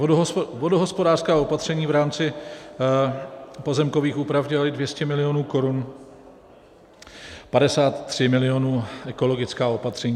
Vodohospodářská opatření v rámci pozemkových úprav dělají 200 milionů korun, 53 milionů ekologická opatření.